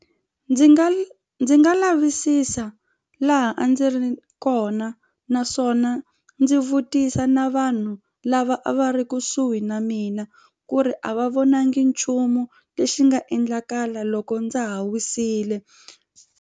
Ndzi nga ndzi nga lavisisa laha a ndzi ri kona naswona ndzi vutisa na vanhu lava a va ri kusuhi na mina ku ri a va vonangi nchumu lexi nga endlakala loko ndza ha wisile.